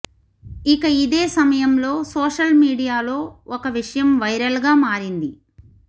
ఇక ఇదే సమయంలో సోషల్ మీడియాలో ఒక విషయం వైరల్ గా మారింది